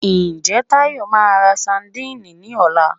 Ǹjẹ́ Táyọ̀ máa ra sandíìnì ní ọ̀la?